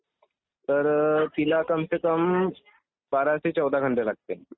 तर तिला कम से कम बारा ते चौदा घंटे लागते.